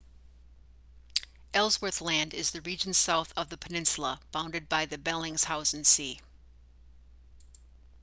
ellsworth land is the region south of the peninsula bounded by the bellingshausen sea